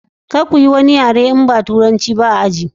Kar kuyi wani yare in ba turanci ba a aji.